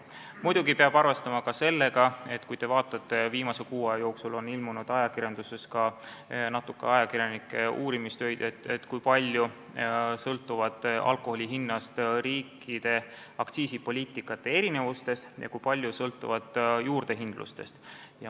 Muidugi peab arvestama ka seda, mille kohta on viimase kuu aja jooksul ilmunud ajakirjanduses natuke ajakirjanike uurimistöid, nimelt seda, kui palju sõltuvad alkoholihinnad riikide aktsiisipoliitikate erinevustest ja kui palju juurdehindlusest.